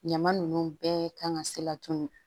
Ɲama ninnu bɛɛ kan ka se laturu